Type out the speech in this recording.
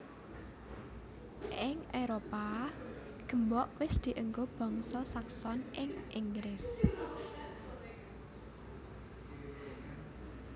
Ing Éropah gembok wis dienggo bangsa Saxon ing Inggris